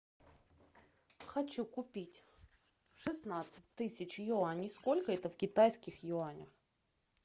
хочу купить шестнадцать тысяч юаней сколько это в китайских юанях